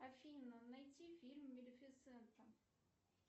афина найти фильм малефисента